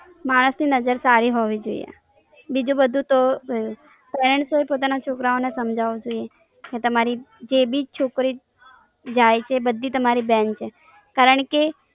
માણસ ની નઝર સારી હોવી જોઈએ બીજું બધું તો પેરેનસોએ પોતાના છોકરાઓને સમજાવવા જોઈએ કે તમારી જે બી છોકરી જાય છે એ બધી તમારી બેન છે. કારણ કે